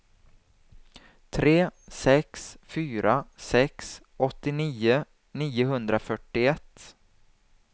tre sex fyra sex åttionio niohundrafyrtioett